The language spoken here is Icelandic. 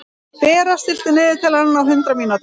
Bera, stilltu niðurteljara á hundrað mínútur.